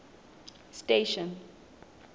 station